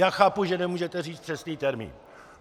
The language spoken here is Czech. Já chápu, že nemůžete říct přesný termín.